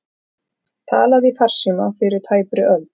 Talað í farsíma fyrir tæpri öld